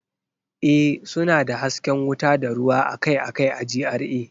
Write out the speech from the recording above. Ee, suna da hasken wuta da ruwa akai-akai a GRA